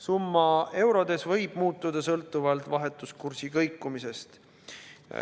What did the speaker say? Summa eurodes võib muutuda sõltuvalt vahetuskursi kõikumisest.